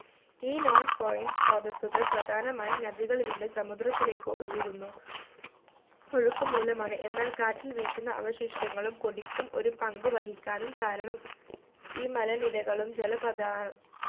ഈ non point സ്രോതസ്സുകൾ പ്രധാനമായും നദികളിലൂടെ സമുദ്രത്തിലേക്ക് ഒഴുകുന്നു ഒഴുക്ക് മൂലമാണ് എന്നാൽ കാറ്റ് വീശുന്ന അവശിഷ്ടങ്ങളും പൊടിക്കും ഒരു പങ്കുവഹിക്കാനും കാരണം ഈ മലനിരകളും ജലപദാ